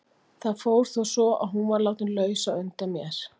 Það fór þó svo að hún var látin laus á undan mér.